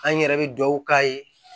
An yɛrɛ bɛ dugawu k'a ye